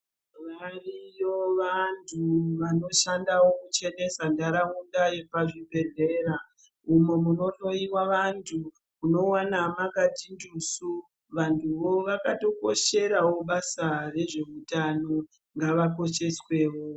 Variyo vantu vanoshandiswawo kuchenesa nharaunda yepachibhehleya umo munohloyiwa vanhu unoona mwakati tusu vanhu vakatokosherawo basa rezveutano ngavakosheswewo.